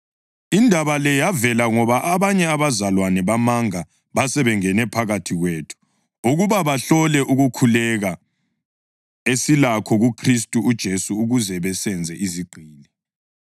Indaba le yavela ngoba abanye abazalwane bamanga basebengene phakathi kwethu ukuba bahlole ukukhululeka esilakho kuKhristu uJesu ukuze basenze izigqili.